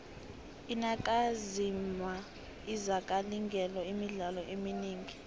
iinakamizwa azikalingeli imidlalo eminingi